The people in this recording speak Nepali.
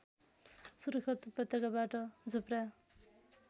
सुर्खेत उपत्यकाबाट झुप्रा